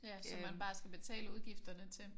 Ja som man bare skal betale udgifterne til